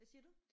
Hvad siger du?